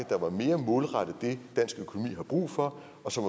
der var mere målrettet det dansk økonomi har brug for og som